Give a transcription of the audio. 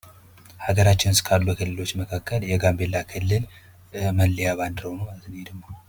ሀገራችን ውስጥ ካሉ ክልሎች መካከል የጋምቤላ ክልል መለያ ባንድራው ነው ማለት ነው ይሄ ደግሞ።